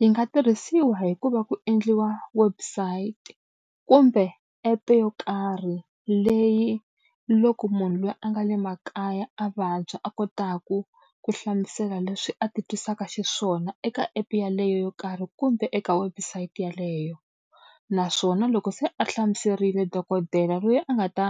Yi nga tirhisiwa hi ku va ku endliwa website kumbe app-e yo karhi leyi loko munhu loyi a nga le makaya a vabya a kotaku ku hlamusela leswi a ti twisaka xiswona eka app-e yaleyo yo karhi kumbe eka website yeleyo. Naswona loko se a hlamuserile dokodela loyi a nga ta